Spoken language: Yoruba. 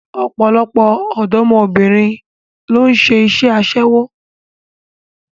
Ọ̀pọ̀lọpọ̀ ọ̀dọ́mọbìnrin ló ń ṣe iṣẹ́ aṣẹ́wó